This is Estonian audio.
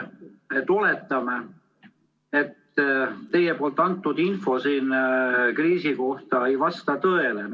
Oletame, et teie antud info selle kriisi kohta ei vasta tõele.